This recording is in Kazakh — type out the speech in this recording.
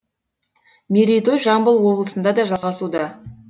мерейтой жамбыл облысында да жалғасуда